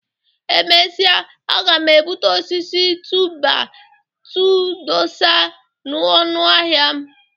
Emesịa aga m ebuta osisi tu-bai-tu dosa n'ụnọ ahịa m.